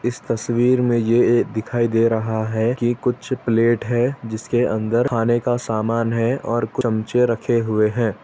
इस तस्वीर में यह दिखाई दे रहा है कि कुछ प्लेट है जिसके अंदर खाने का सामान है और कुछ चम्मचे रखे हुए है।